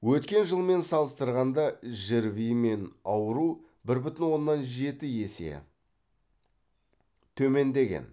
өткен жылмен салыстырғанда жрви мен ауыру бір бүтін оннан жеті есе төмендеген